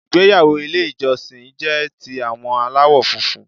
Ìgbéyàwó Ilé ìjọsìn jé ti àwọn aláwò funfun